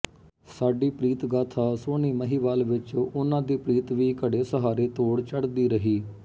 ਸਾਡੀ ਪ੍ਰੀਤ ਗਾਥਾ ਸੋਹਣੀ ਮਹੀਂਵਾਲ ਵਿੱਚ ਉਹਨਾਂ ਦੀ ਪ੍ਰੀਤ ਵੀ ਘੜੇ ਸਹਾਰੇ ਤੋੜ ਚੜ੍ਹਦੀ ਰਹੀ